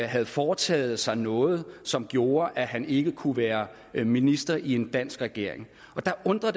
havde foretaget sig noget som gjorde at han ikke kunne være minister i en dansk regering det undrer